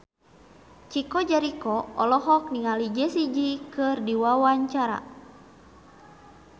Chico Jericho olohok ningali Jessie J keur diwawancara